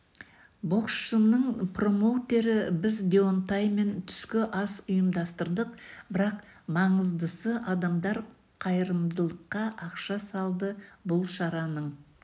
боксшының промоутері біз деонтаймен түскі ас ұйымдастырдық бірақ маңыздысы адамдар қайырымдылыққа ақша салды бұл шараның